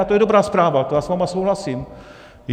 A to je dobrá zpráva, to já s vámi souhlasím.